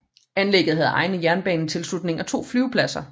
Anlægget havde egen jernbanetilslutning og to flyvepladser